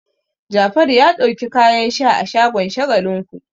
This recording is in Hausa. Jafaru ya ɗauki kayan sha a shagon Shagalinku.